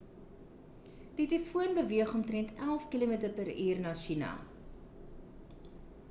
die tifoon beweeg omtrent elf km/uur na china